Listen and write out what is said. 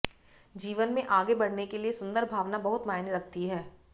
जीवन में आगे बढ़ने के लिए सुंदर भावना बहुत मायने रखती है